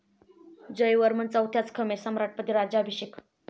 जयवर्मन चौथ्याच खमेर सम्राटपदी राज्याभिषेक.